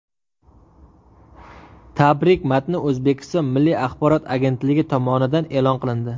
Tabrik matni O‘zbekiston Milliy axborot agentligi tomonidan e’lon qilindi .